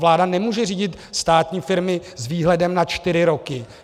Vláda nemůže řídit státní firmy s výhledem na čtyři roky.